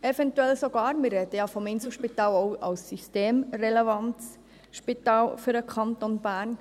Beim Inselspital sprechen wir ja auch von einem systemrelevanten Spital für den Kanton Bern.